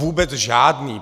Vůbec žádný.